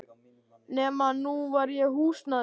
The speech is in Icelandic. Nema að nú var ég húsnæðislaus.